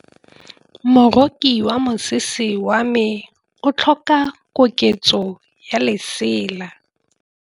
Moroki wa mosese wa me o tlhoka koketsô ya lesela.